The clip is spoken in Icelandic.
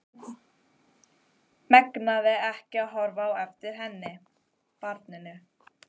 Megnaði ekki að horfa á eftir henni, barninu.